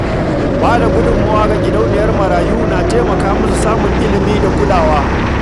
Ba da gudummawa ga gidauniyar marayu na taimaka musu samun ilimi da kulawa.